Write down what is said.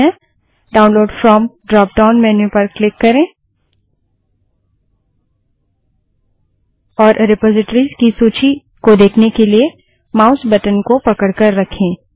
download from download from drop down menu पर click करें और रिपाज़िटरिस की सूची को देखने के लिए माउस बटन को पकड़ कर रखें